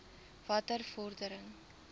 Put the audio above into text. watter vordering